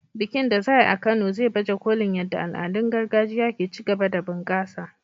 Bikin da za a yi a Kano zai baje kolin yadda al'adun gargajiya ke ci gaba da bunƙasa.